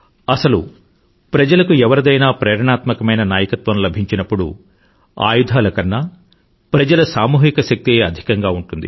అసలు ప్రజలకు ఎవరిదైనా ప్రేరణాత్మకమైన నాయకత్వం లభించినప్పుడు ఆయుధాల కన్నా ప్రజల సామూహిక శక్తే అధికంగా ఉంటుంది